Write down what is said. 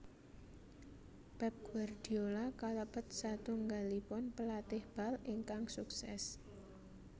Pep Guardiola kalebet satunggalipun pelatih bal ingkang sukses